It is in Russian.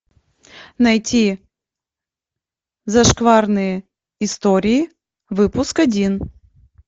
найти зашкварные истории выпуск один